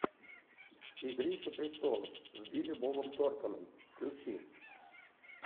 игрища престолов с билли бобом торнтоном включи